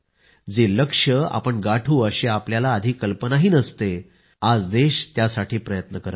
जे लक्ष्य आपण गाठू अशी आपला आधी कल्पनाही करू शकलो नव्हतो आज देश त्यासाठी प्रयत्न करीत आहे